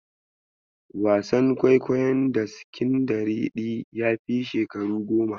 Wasan kwaikwayon Daskindariɗi yafi shekaru goma.